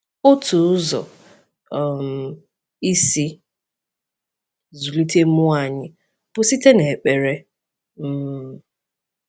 Otu ụzọ um isi zụlite mmụọ anyị bụ site n’ekpere. um